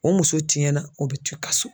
O muso tiɲɛna o bɛ to i ka so.